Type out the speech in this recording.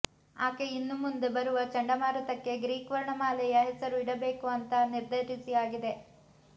ಆಕೆ ಇನ್ನು ಮುಂದೆ ಬರುವ ಚಂಡಮಾರುತಕ್ಕೆ ಗ್ರೀಕ್ ವರ್ಣ ಮಾಲೆಯ ಹೆಸರು ಇಡಬೇಕು ಅಂತ ನಿರ್ಧರಿಸಿ ಆಗಿದೆ